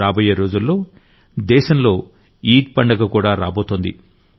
రాబోయే రోజుల్లో దేశంలో ఈద్ పండగకూడా రాబోతోంది